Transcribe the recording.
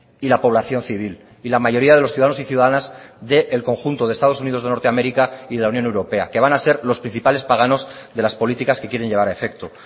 y la población civil y la mayoría de los ciudadanos y ciudadanas del conjunto de estados unidos de norteamérica y la unión europea que van a ser los principales paganos de las políticas que quieren llevar a efecto